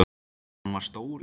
Hann var stór í sér.